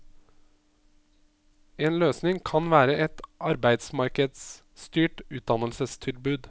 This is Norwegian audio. En løsning kan være et arbeidsmarkedsstyrt utdannelsestilbud.